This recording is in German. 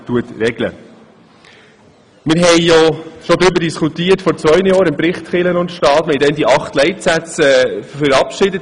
Wir haben bereits vor zwei Jahren im Zusammenhang mit dem Bericht «Kirche und Staat» über diese Frage diskutiert und acht Leitsätze verabschiedet.